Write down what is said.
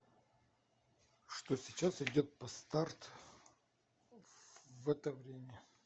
что сейчас идет по старт в это время